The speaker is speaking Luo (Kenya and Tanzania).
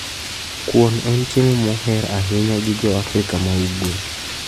Kuon en chiemo moher ahinya gi jo Afrika ma ugwe.